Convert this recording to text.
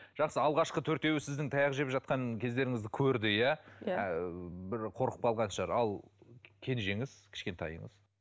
жақсы алғашқы төртеуі сіздің таяқ жеп жатқан кездеріңізді көрді иә бір қорқып қалған шығар ал кенжеңіз кішкентайыңыз